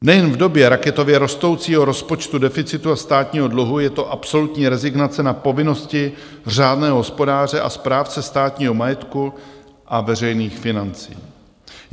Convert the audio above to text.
Nejen v době raketově rostoucího rozpočtu, deficitu a státního dluhu je to absolutní rezignace na povinnosti řádného hospodáře a správce státního majetku a veřejných financí.